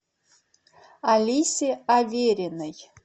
алисе авериной